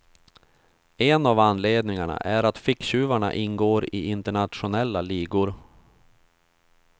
En av anledningarna är att ficktjuvarna ingår i internationella ligor.